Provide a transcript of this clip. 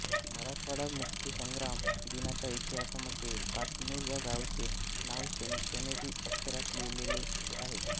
मराठवाडा मुक्तीसंग्राम दिनाच्या इतिहासामध्ये पाटनूर या गावाचे नाव सोनेरी अक्षरात लिहीलेलं आहे